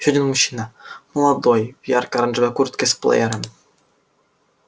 ещё один мужчина молодой в яркой оранжевой куртке с плеером